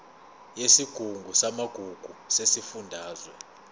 yesigungu samagugu sesifundazwe